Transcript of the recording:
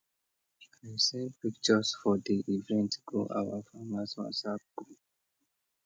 i send pictures for di event go our farmers whatsapp group